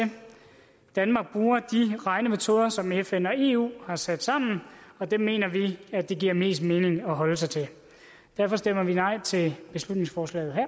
danmark bruger de regnemetoder som fn og eu har sat sammen og det mener vi at det giver mest mening at holde sig til derfor stemmer vi nej til beslutningsforslaget